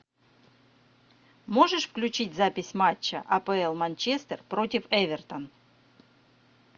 можешь включить запись матча апл манчестер против эвертон